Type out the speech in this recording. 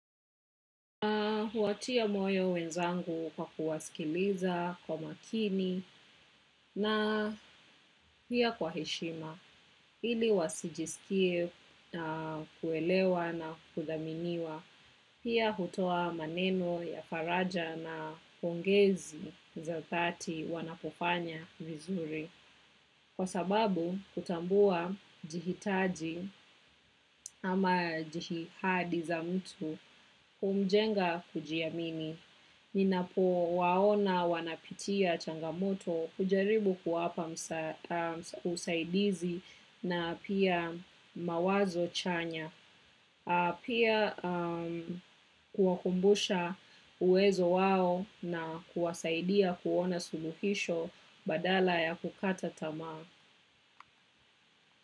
Huwatia moyo wenzangu kwa kuwasikiliza kwa makini na pia kwa heshima ili wasijisikie kuelewa na kuthaminiwa pia hutoa maneno ya faraja na pongezi za dhati wanapofanya vizuri. Kwa sababu, kutambua jihitaji ama jihihadi za mtu, kumjenga kujiamini. Ninapo waona wanapitia changamoto kujaribu kuwapa usaidizi na pia mawazo chanya. Pia kuwakumbusha uwezo wao na kuwasaidia kuona suluhisho badala ya kukata tamaa.